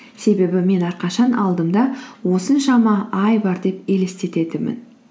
себебі мен әрқашан алдымда осыншама ай бар деп елестететінмін